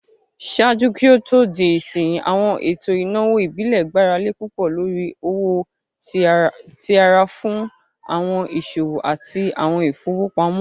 Ṣaaju ki o to, awọn eto inawo ibile gbarale pupọ lori owo ti ara fun awọn iṣowo ati awọn ifowopamọ.